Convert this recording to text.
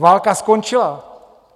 Válka skončila.